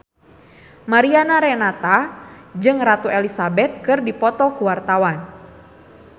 Mariana Renata jeung Ratu Elizabeth keur dipoto ku wartawan